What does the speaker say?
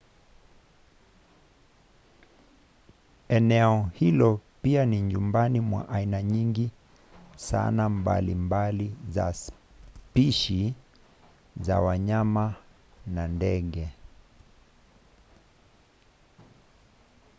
eneo hilo pia ni nyumbani mwa aina nyingi sana mbalimbali za spishi za wanyama na ndege